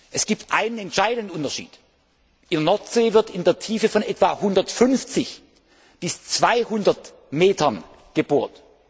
sind. Es gibt einen entscheidenden Unterschied In der Nordsee wird in einer Tiefe von etwa 150 bis 200 Metern gebohrt.